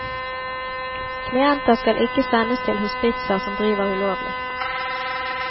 Klienter skal ikke sendes til hospitser som driver ulovlig.